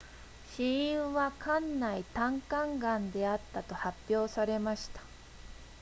死因は肝内胆管癌であったと発表されました